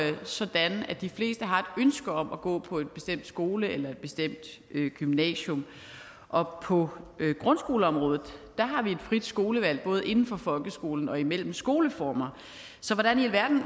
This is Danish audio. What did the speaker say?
jo sådan at de fleste har et ønske om at gå på en bestemt skole eller et bestemt gymnasium og på grundskoleområdet har vi et frit skolevalg både inden for folkeskolen og imellem skoleformer så hvordan i alverden